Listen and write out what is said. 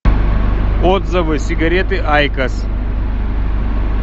отзывы сигареты айкос